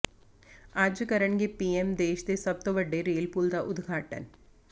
ਅੱਜ ਕਰਨਗੇ ਪੀਐਮ ਦੇਸ਼ ਦੇ ਸਭ ਤੋਂ ਵੱਡੇ ਰੇਲ ਪੁੱਲ ਦਾ ਉਦਘਾਟਨ